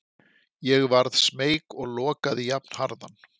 Ég varð smeyk og lokaði jafnharðan.